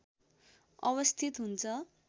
अवस्थित हुन्छ